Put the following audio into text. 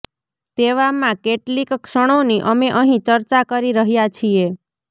તેવામાં કેટલિક ક્ષણોની અમે અહીં ચર્ચા કરી રહ્યાં છીએ